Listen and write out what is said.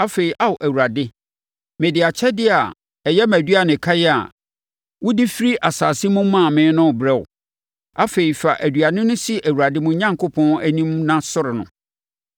Afei, Ao Awurade, mede akyɛdeɛ a ɛyɛ mʼaduanekan a wode firi asase mu maa me no rebrɛ wo.” Afei, fa aduane no si Awurade, mo Onyankopɔn, anim na sɔre no.